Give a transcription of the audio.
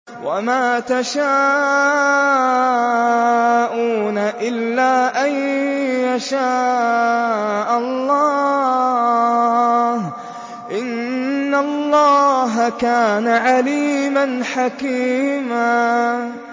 وَمَا تَشَاءُونَ إِلَّا أَن يَشَاءَ اللَّهُ ۚ إِنَّ اللَّهَ كَانَ عَلِيمًا حَكِيمًا